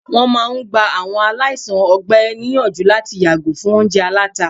wọn máà ń gbá àwọn aláìsàn ọgbẹ níyànjú láti yàgò fún oúnjẹ àlàtá